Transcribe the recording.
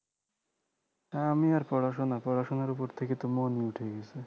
আমি আর পড়াশোনা পড়াশোনার উপর থেকে তো মনই উঠে গেছে